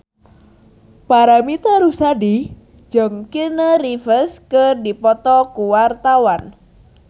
Paramitha Rusady jeung Keanu Reeves keur dipoto ku wartawan